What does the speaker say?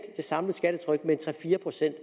det samlede skattetryk med tre fire procent